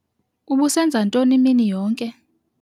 Ubusenza ntoni imini yonke?